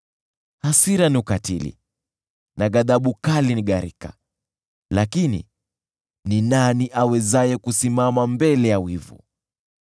Hasira ni ukatili na ghadhabu kali ni gharika, lakini ni nani awezaye kusimama mbele ya wivu?